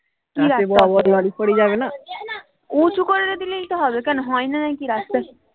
কি আসতে অসুবিধা হবে উঁচু করে দিলেই তো হবে কেন হয় না নাকি রাস্তা